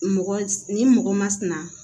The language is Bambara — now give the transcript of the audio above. Mɔgɔ ni mɔgɔ ma sinɛ